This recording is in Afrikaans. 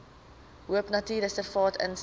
de hoopnatuurreservaat insluit